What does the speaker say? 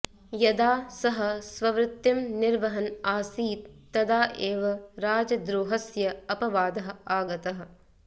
यदा सः स्ववृत्तिं निर्वहन् आसीत् तदा एव राजद्रोहस्य अपवादः आगतः